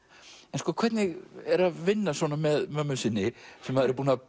en hvernig er að vinna svona með mömmu sinni sem maður er búinn að